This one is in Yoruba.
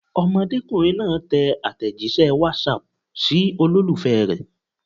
Ọmọdékùnrin náà tẹ àtẹ̀jíṣẹ́ WhatsApp sí olólùfẹ́ rẹ̀.